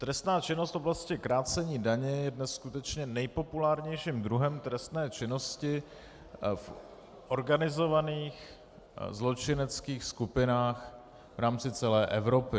Trestná činnost v oblasti krácení daně je dnes skutečně nejpopulárnějším druhem trestné činnosti v organizovaných zločineckých skupinách v rámci celé Evropy.